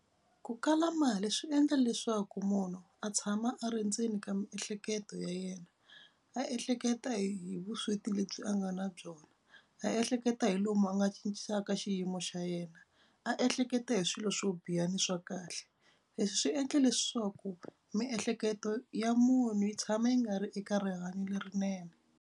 Ku kala mali swi endla leswaku munhu a tshama a ri ndzeni ka miehleketo ya yena a ehleketa hi vusweti lebyi a nga na byona, a ehleketa hi lomu a nga cincisaka xiyimo xa yena, a ehleketa hi swilo swo biha ni swa kahle. Leswi swi endle leswaku miehleketo ya munhu yi tshama yi nga ri eka rihanyo lerinene.